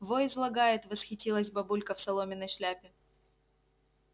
во излагает восхитилась бабулька в соломенной шляпе